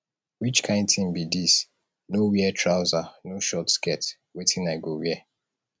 which kin thing be dis no wear trouser no short skirt wetin i go wear